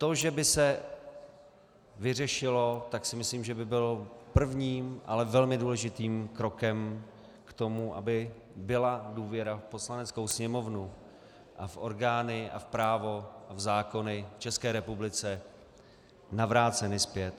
To, že by se vyřešilo, tak si myslím, že by bylo prvním, ale velmi důležitým krokem k tomu, aby byla důvěra v Poslaneckou sněmovnu a v orgány a v právo v zákony v České republice navrácena zpět.